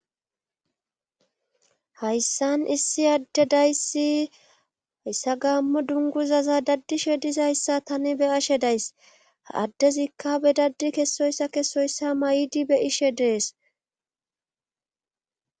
hayssan issi adde dayssi hayssa gaammo dunguzaza daddishe dizayssa tani be ashe days addezikka be daddi kessoyssa kessoyssa may7di be' ishe dees